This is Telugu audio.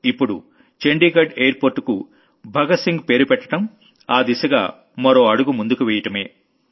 ఇప్పుడు చండీఘడ్ ఎయిర్ పోర్ట్ కు భగత్ సింగ్ పేరు పెట్టడం ఆ దిశగా మరో అడుగు ముందుకు వెయ్యడమే